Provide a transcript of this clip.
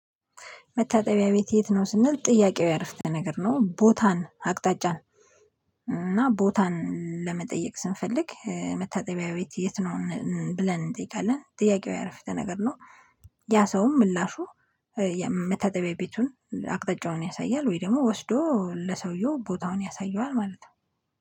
መታጠቢያ ቤት የት ነው? ስንል ጥያቄያዊ የአረፍተ ነገር ነው ቦታን አቅጣጫን እና ቦታን ለመጠየቅ ስንፈልግ መታጠቢያ ቤት የት ነው? ብለን እንጠይቃለን ጥያቄው ያረፍተ ነገር ነው። ያ ሰውም ምላሹ መታጠቢያ ቤቱን አቅጣጫውን ያሳያል ወይ ደግሞ ወስዶ ለሰውየው ቦታውን ያሳየዋል ማለት ነው።